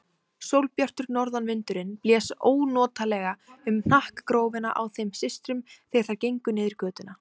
Sólbjartur norðanvindurinn blés ónotalega um hnakkagrófina á þeim systrum þegar þær gengu niður götuna.